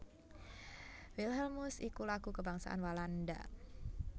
Wilhelmus iku Lagu kabangsan Walanda